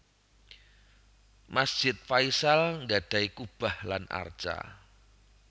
Masjid Faisal gadhahi kubah lan arca